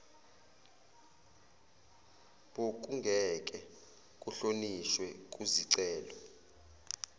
bokungeke kuhlonishwe kuzicelo